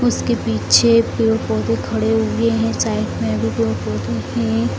उसके पीछे पेड़-पौधे खड़े हुए हैं साइड में अभी पौधे हैं।